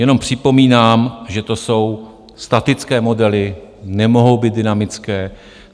Jenom připomínám, že to jsou statické modely, nemohou být dynamické.